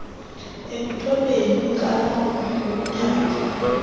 ekuthobeni inxalabo yokuthamba